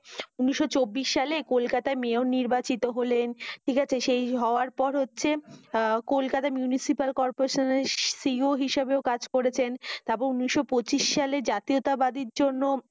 উনিশ চব্বিশ সালে কলকাতায় মেয়র নির্বাচিত হলেন। ঠিক আছে। সেই হওয়ার পর হচ্ছে আহ কলকাতা মিউনিসিপাল কর্পোরেশনের CO হিসাবেও কাজ করেছেন। তাপ উনিশ পঁচিশ সালে জাতীয়তা বাদের জন্য